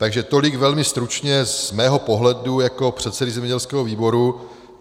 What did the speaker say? Takže tolik velmi stručně z mého pohledu jako předsedy zemědělského výboru.